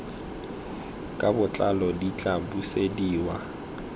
ka botlalo di tla busediwa